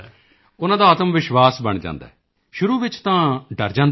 ਉਨ੍ਹਾਂ ਦਾ ਆਤਮਵਿਸ਼ਵਾਸ ਬਣ ਜਾਂਦਾ ਹੈ ਸ਼ੁਰੂ ਵਿੱਚ ਤਾਂ ਡਰ ਜਾਂਦੇ ਨੇ